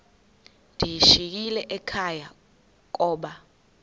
ndiyishiyile ekhaya koba